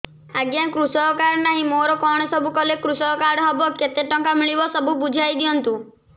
ଆଜ୍ଞା କୃଷକ କାର୍ଡ ନାହିଁ ମୋର କଣ ସବୁ କଲେ କୃଷକ କାର୍ଡ ହବ କେତେ ଟଙ୍କା ମିଳିବ ସବୁ ବୁଝାଇଦିଅନ୍ତୁ